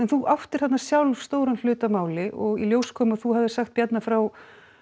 þú áttir þarna sjálf stóran hlut að máli og í ljós kom að þú hafir sagt Bjarna frá